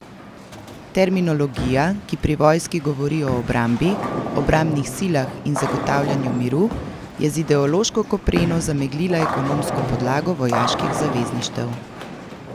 Terminologija, ki pri vojski govori o obrambi, obrambnih silah in zagotavljanju miru, je z ideološko kopreno zameglila ekonomsko podlago vojaških zavezništev.